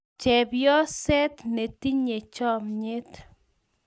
Chepyoset netinye chomyet